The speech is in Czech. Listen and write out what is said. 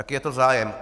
Jaký je to zájem?